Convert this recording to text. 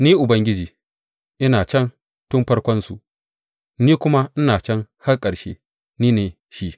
Ni, Ubangiji ina can tun farkonsu ni kuma ina can har ƙarshe, Ni ne shi.